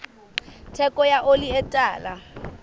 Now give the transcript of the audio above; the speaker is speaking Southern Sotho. theko ya oli e tala